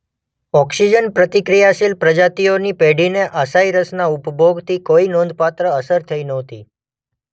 Oxygen પ્રતિક્રિયાશીલ પ્રજાતિઓની પેઢીને અસાઈ રસના ઉપભોગથી કોઈ નોંધપાત્ર અસર થઈ નહોતી.